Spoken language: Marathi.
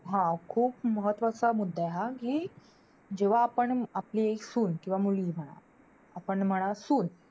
हा. खूप महत्वाचा मुद्दा आहे हा. कि जेव्हा आपण आपली सून किंवा मुलगी म्हणा. आपण म्हणा सून.